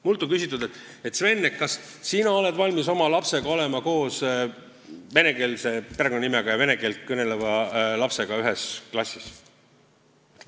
Mult on küsitud: "Sven, kas sina oled valmis, et sinu laps on ühes klassis koos vene perekonnanimega ja vene keelt kõneleva lapsega?